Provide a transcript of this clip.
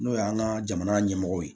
N'o y'an ka jamana ɲɛmɔgɔ ye